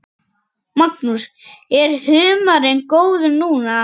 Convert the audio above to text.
Magnús: Er humarinn góður núna?